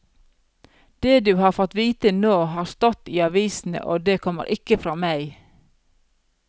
Det du har fått vite nå, har stått i avisene, og det kommer ikke fra meg.